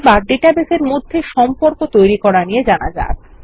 এখন ডাটাবেসের মধ্যে সম্পর্ক তৈরী করা নিয়ে জানা যাক